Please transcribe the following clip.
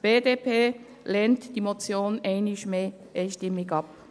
Die BDP lehnt diese Motion einmal mehr einstimmig ab.